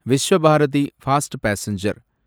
Visva Bharati fast passenger